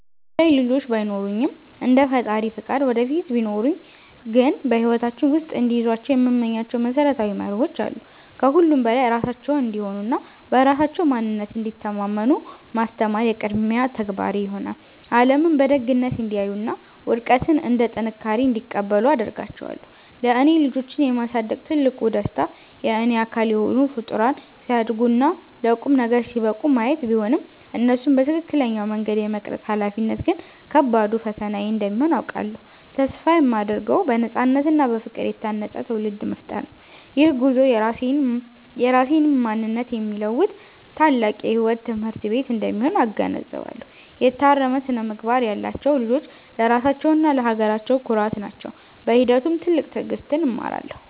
አሁን ላይ ልጆች ባይኖሩኝም፣ እንደ ፈጣሪ ፈቃድ ወደፊት ቢኖሩኝ ግን በሕይወታቸው ውስጥ እንዲይዟቸው የምመኛቸው መሰረታዊ መርሆዎች አሉ። ከሁሉም በላይ ራሳቸውን እንዲሆኑና በራሳቸው ማንነት እንዲተማመኑ ማስተማር የቅድሚያ ተግባሬ ይሆናል። ዓለምን በደግነት እንዲያዩና ውድቀትን እንደ ጥንካሬ እንዲቀበሉ አደርጋቸዋለሁ። ለእኔ ልጆችን የማሳደግ ትልቁ ደስታ የእኔ አካል የሆኑ ፍጡራን ሲያድጉና ለቁም ነገር ሲበቁ ማየት ቢሆንም፣ እነሱን በትክክለኛው መንገድ የመቅረጽ ኃላፊነት ግን ከባዱ ፈተናዬ እንደሚሆን አውቃለሁ። ተስፋ የማደርገው በነፃነትና በፍቅር የታነፀ ትውልድ መፍጠር ነው። ይህ ጉዞ የራሴንም ማንነት የሚለውጥ ታላቅ የሕይወት ትምህርት ቤት እንደሚሆን እገነዘባለሁ። የታረመ ስነ-ምግባር ያላቸው ልጆች ለራሳቸውና ለሀገራቸው ኩራት ናቸው። በሂደቱም ትልቅ ትዕግሥትን እማራለሁ።